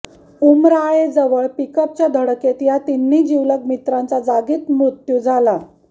उमराळेजवळ पिकअपच्या धडकेत या तिन्ही जीवलग मित्रांचा जागीच मृत्यू झाला